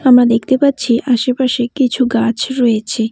আমরা দেখতে পাচ্ছি আশেপাশে কিছু গাছ রয়েছে।